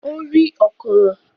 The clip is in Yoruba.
Ó rí “ọ̀kùnrùn”.